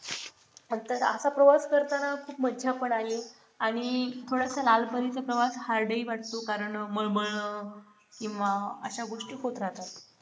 आता प्रवास करताना खूप मजा पण आली आणि थोडासा लाल परीचे प्रवास hard हि वाटतो कारण माळ मळन किंवा अशा गोष्टी खूप राहतात.